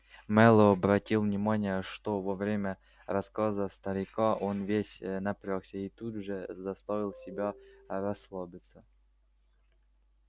мэллоу обратил внимание что во время рассказа старика он весь напрягся и тут же заставил себя расслабиться